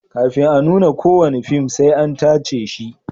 Kafin a nuna kowane fim sai an tace shi.